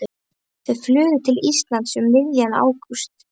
Þau flugu til Íslands um miðjan ágúst.